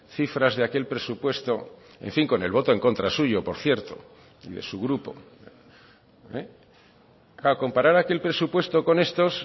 cifras de aquel presupuesto en fin con el voto en contra suyo por cierto y de su grupo comparar aquel presupuesto con estos